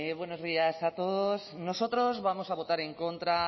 buenos días a todos nosotros vamos a votar en contra